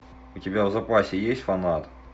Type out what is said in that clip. у тебя в запасе есть фанат